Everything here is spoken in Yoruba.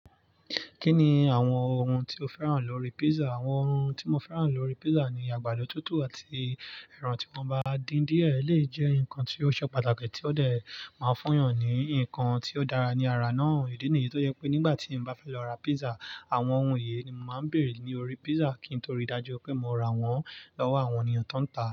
Kí ni àwọn ohun tí o fẹ́ràn lórí pizza? Àwọn ohun tí mo fẹ́ràn lórí pizza ni àgbàdo tútù àti ẹran tí mo bá dín díẹ̀ lè jẹ́ nǹkan tí ó ṣe pàtàkì tí ó dẹ̀ máa ń fún eeyàn ní ǹnkan tí ó dára ní ara náà. Ìdí nìyí tó jẹ́ pé nígbà tí mo bá fẹ́ lọ ra pizza, àwọn ohun yìí ni mo máa ń bèrè lórí pizza kí n tó ri dájú pé mo ra wọ́n lọ́wọ́ àwọn ènìyàn tó ń ta.